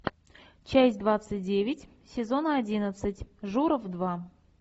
часть двадцать девять сезона одиннадцать журов два